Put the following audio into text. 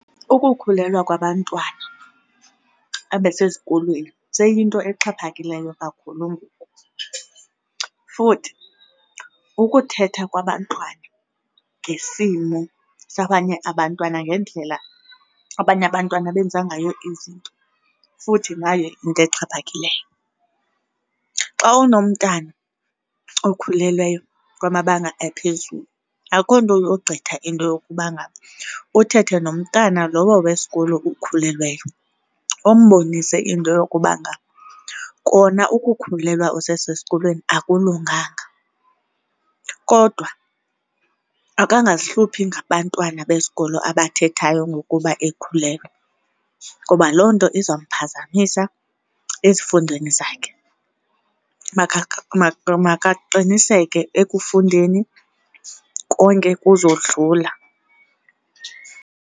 Ukukhulelwa kwabantwana abasesikolweni seyinto exhaphakileyo kakhulu ngoku futhi ukuthetha kwabantwana ngesimo sabanye abantwana ngendlela abanye abantwana abenza ngayo izinto futhi nayo yinto exhaphakileyo. Xa unomntwana okhulelweyo kwamabanga aphezulu akho nto yogqitha into yokuba ngaba uthethe nomntana lowo wesikolo ukhulelweyo. Umbonise into yokuba ngaba kona ukukhulelwa usesesikolweni akulunganga kodwa makangazihluphi ngabantwana besikolo abathethayo ngokuba ekhulelwe ngoba loo nto izamphazamisa ezifundweni zakhe. Makaqiniseke ekufundeni konke kuzodlula.